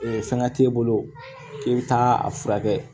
fɛngɛ t'e bolo k'i bɛ taa a furakɛ